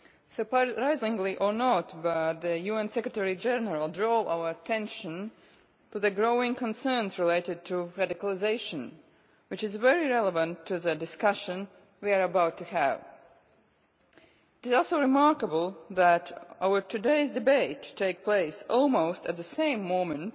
Surprisingly or not, the UN Secretary General drew our attention to the growing concerns related to radicalisation, which is very relevant to the discussion we are about to have. It is also remarkable that our debate today takes place almost at the same moment